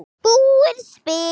Búið spil.